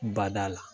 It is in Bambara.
Bada la